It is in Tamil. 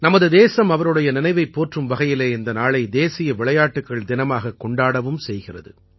நமது தேசம் அவருடைய நினைவைப் போற்றும் வகையிலே இந்த நாளை தேசிய விளையாட்டுக்கள் தினமாகக் கொண்டாடவும் செய்கிறது